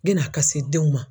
yenn'a ka se denw ma